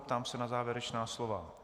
Ptám se na závěrečná slova?